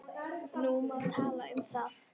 Nú má tala um þá.